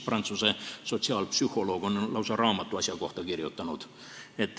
Prantsuse sotsiaalpsühholoog Henri Tajfel on lausa raamatu selle asja kohta kirjutanud.